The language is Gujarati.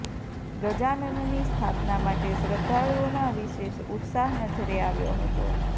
ગજાનનની સ્થાપના માટે શ્રદ્વાળુઓમાં વિશેષ ઉત્સાહ નજરે આવ્યો હતો